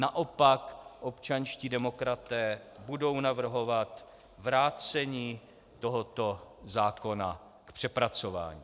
Naopak, občanští demokraté budou navrhovat vrácení tohoto zákona k přepracování.